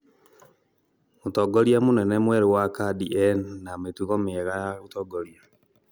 mũtongoria mũnene mwerũ wa khadi ena mĩtugo miega ya ũtongoria